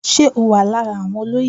Ṣé o wà lára àwọn olóyè.